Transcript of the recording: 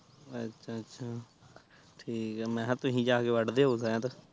ਅੱਛਾ ਅੱਛਾ ਅੱਛਾ ਠੀਕ ਆ ਮੈਂ ਕਿਹਾ ਤੁਸੀਂ ਜਾ ਕੇ ਵੱਢ ਦੇ ਹੋਵੋ ਸ਼ਇਦ